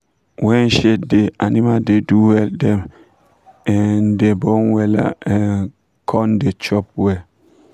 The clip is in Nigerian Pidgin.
when shade da animal da do well dem um da born wella um kum da chop wella